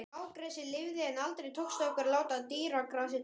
Blágresið lifði, en aldrei tókst okkur að láta dýragrasið dafna.